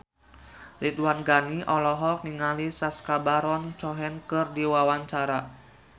Ridwan Ghani olohok ningali Sacha Baron Cohen keur diwawancara